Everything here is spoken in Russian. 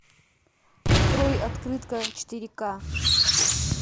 открой открытка четыре ка